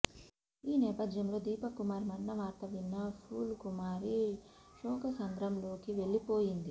ఈ నేపథ్యంలో దీపక్ కుమార్ మరణ వార్త విన్న పూల్ కుమారి శోకసంద్రంలోకి వెళ్లిపోయింది